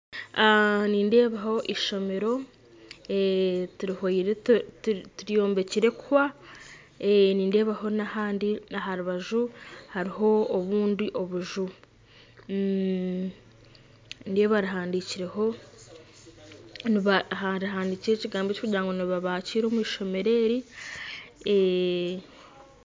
Nideebaho ishomero tiryombekire kuhwa nideeho nahandi aharubaju hariho obundi obuju nindeeba rihandikireho ekigambo ekirikugira ngu nibabakira omu ishomero eri